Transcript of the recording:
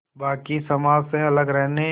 बाक़ी समाज से अलग रखने